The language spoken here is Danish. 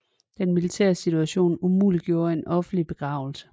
Den militære situation umuliggjorde en offentlig begravelse